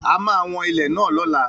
A máa wọn ilẹ̀ náà lọ́la